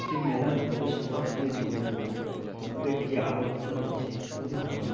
এই মেলার প্রবেশপথ দিয়ে ঢুকবো। খুব একটি আলোকিত হচ্ছে খুবই ভালো লাগ--